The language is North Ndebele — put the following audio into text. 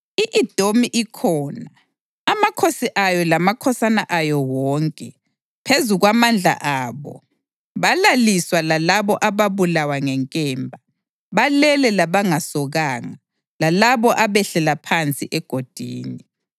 I-Edomi ikhona, amakhosi ayo lamakhosana ayo wonke; phezu kwamandla abo, balaliswa lalabo ababulawa ngenkemba. Balele labangasokanga, lalabo abehlela phansi egodini.